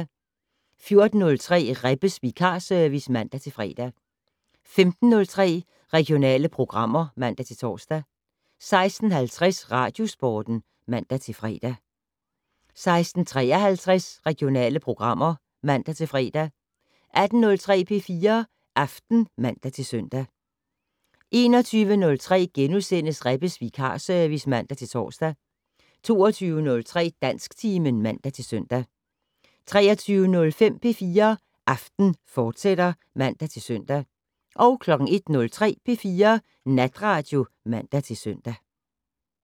14:03: Rebbes vikarservice (man-fre) 15:03: Regionale programmer (man-tor) 16:50: Radiosporten (man-fre) 16:53: Regionale programmer (man-fre) 18:03: P4 Aften (man-søn) 21:03: Rebbes vikarservice *(man-tor) 22:03: Dansktimen (man-søn) 23:05: P4 Aften, fortsat (man-søn) 01:03: P4 Natradio (man-søn)